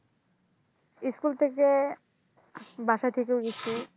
School থেকে বাসা থেকেও গেছি।